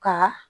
Ka